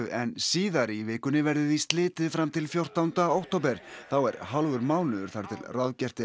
en síðar í vikunni verður því slitið fram til fjórtánda október þá er hálfur mánuður þar til ráðgert er